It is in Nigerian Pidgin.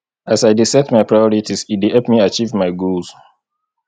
as i dey set my priorities e dey help me achieve my goals